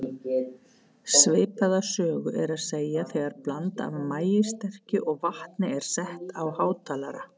Svipaða sögu er að segja þegar blanda af maíssterkju og vatni er sett á hátalara.